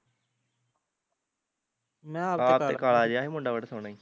ਆਪ ਤੇ ਕਾਲ ਜਿਹਾ ਸੀ ਮੁੰਡਾ ਬੜਾ ਸੋਹਣਾ ਈ